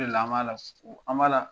O de la an b'a la, an b'a la